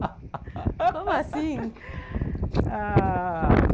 Como assim? ah